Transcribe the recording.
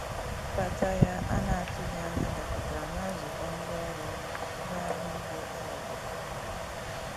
Mbata ya ana atụghi anya dakọtara na nzụkọ ndi ọrụ maka ngahari iwe enwere ike ime.